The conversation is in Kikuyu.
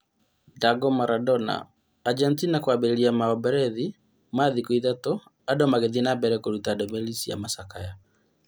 Ndago Madona: Agetina kũambĩrĩria maomborethi ma thikũ ithatũ, andũ magĩthiĩ nambere kũruta ndũmĩrĩri cia macakaya.